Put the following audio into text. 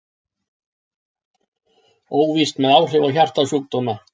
Óvíst með áhrif á hjartasjúkdóma